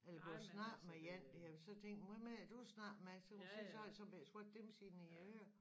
Eller gå og snakke med én der så tænk hvem er det du snakker med så kan man se så har de små bette dimser inde i æ ører